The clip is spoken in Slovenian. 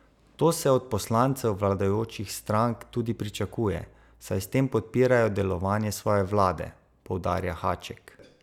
To se od poslancev vladajočih strank tudi pričakuje, saj s tem podpirajo delovanje svoje vlade, poudarja Haček.